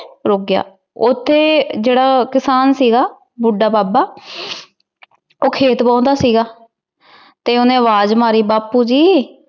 ਰੁੱਕ ਗਿਆ। ਉਥੇ ਜੇੜਾ ਕਿਸਾਨ ਸੀਗਾ, ਬੁੱਢਾ ਬਾਬਾ। ਉਹ ਖੇਤ ਵਾਹੁੰਦਾ ਸੀਗਾ ਤੇ ਉਹਨੇ ਅਵਾਜ਼ ਮਾਰੀ, ਬਾਪੁ ਜੀ।